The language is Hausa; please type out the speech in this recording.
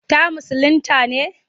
Ta musulinta ne?